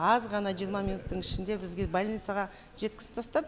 аз ғана жиырма минуттың ішінде бізге больницаға жеткізіп тастады